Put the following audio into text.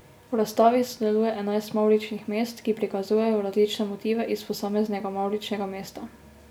V razstavi sodeluje enajst mavričnih mest, ki prikazujejo različne motive iz posameznega mavričnega mesta.